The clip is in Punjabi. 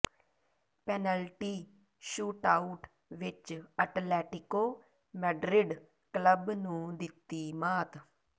ਪੈਨਲਟੀ ਸ਼ੂਟਆਊਟ ਵਿੱਚ ਅਟਲੈਟਿਕੋ ਮੈਡਰਿਡ ਕਲੱਬ ਨੂੰ ਦਿੱਤੀ ਮਾਤ